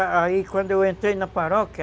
Aí quando eu entrei na paróquia,